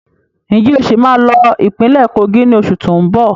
Ń jẹ́ ó sì máa lọ ìpínlẹ́ Kogi ni oṣù tóun bọ̀?